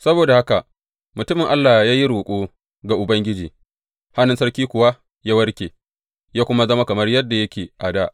Saboda haka mutumin Allah ya yi roƙo ga Ubangiji, hannun sarki kuwa ya warke, ya kuma zama kamar yadda yake a dā.